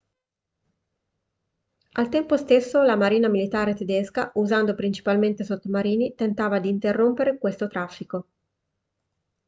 al tempo stesso la marina militare tedesca usando principalmente sottomarini tentava di interrompere questo traffico